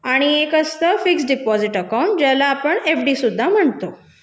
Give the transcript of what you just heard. आणि एक असतं मुदत ठेव खाते ज्याला आपण एफडी सुद्धा म्हणतो